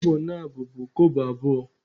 Kobo na abọ bụ Kobo abụọ